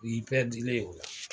I'i y'i o la.